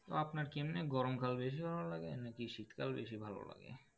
আপনার কি এমনি গরমকাল বেশি ভালো লাগে? না কি শীতকাল বেশি ভালো লাগে?